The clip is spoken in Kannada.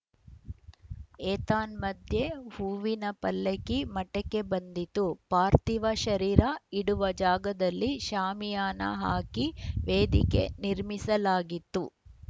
ಏತನ್ಮಧ್ಯೆ ಹೂವಿನಪಲ್ಲಕ್ಕಿ ಮಠಕ್ಕೆ ಬಂದಿತ್ತು ಪಾರ್ಥಿವ ಶರೀರ ಇಡುವ ಜಾಗದಲ್ಲಿ ಶಾಮಿಯಾನ ಹಾಕಿ ವೇದಿಕೆ ನಿರ್ಮಿಸಲಾಗಿತ್ತು